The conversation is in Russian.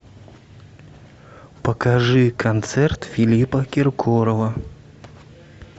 покажи концерт филиппа киркорова